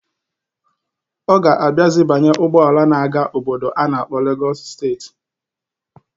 Ọ ga-abiazi banye ụgbọala na-aga obodo a na-akpọ Legọs steeti.